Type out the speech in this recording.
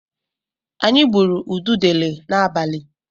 Anyị gbụrụ ududele n'abalị.